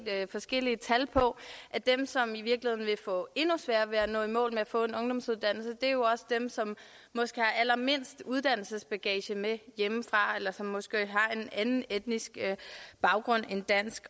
forskellige tal på at dem som i virkeligheden vil få endnu sværere ved at nå i mål med at få en ungdomsuddannelse er dem som måske har allermindst uddannelsesbagage med hjemmefra eller som måske har en anden etnisk baggrund end dansk